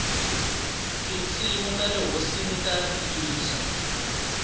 tinsimu tale nkosini ta rilisa